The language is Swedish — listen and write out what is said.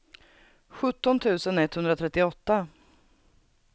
sjutton tusen etthundratrettioåtta